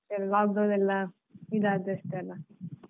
ಆಲ್ವಾ lockdown ಎಲ್ಲಾ ಇದಾದದಷ್ಟೇ ಅಲ್ಲ.